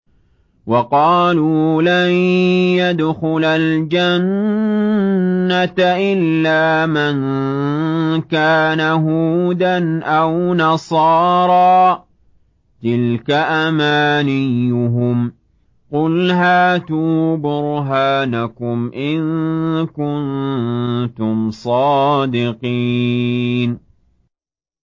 وَقَالُوا لَن يَدْخُلَ الْجَنَّةَ إِلَّا مَن كَانَ هُودًا أَوْ نَصَارَىٰ ۗ تِلْكَ أَمَانِيُّهُمْ ۗ قُلْ هَاتُوا بُرْهَانَكُمْ إِن كُنتُمْ صَادِقِينَ